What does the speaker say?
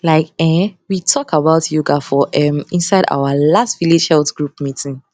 like um we talk about yoga for um inside our last village health group meeting